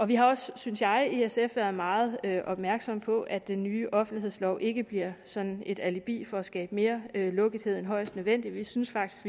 vi har også synes jeg i sf været meget opmærksomme på at den nye offentlighedslov ikke bliver sådan et alibi for at skabe mere lukkethed end højst nødvendigt vi synes faktisk